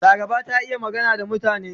Laraba ta iya magana da mutane.